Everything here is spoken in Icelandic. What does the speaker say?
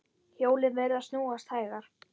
Hjólin virðast snúast hægar.